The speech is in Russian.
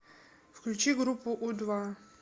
включи группу у два